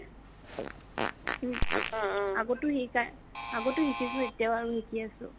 উম আগতও শিকা, আগতও শিকিছো এতিয়াও শিকি আছো